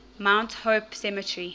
mount hope cemetery